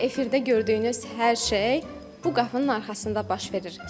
Efirdə gördüyünüz hər şey bu qapının arxasında baş verir.